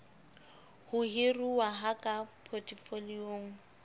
ho hiruwa ha ka potefoliong